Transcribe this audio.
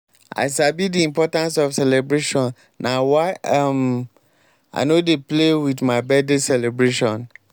i sabi di importance of celebration na why i um no dey play with my birthday celebration.